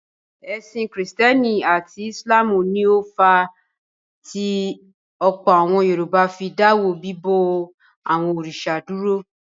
Ẹ̀sìn Kìrìtẹ́ẹ́nì àti Ìsìlámù ni ó fà á tí ọ̀pọ̀ àwọn Yorùbá fi dáwọ́ bíbọ àwọn òrìṣà dúró.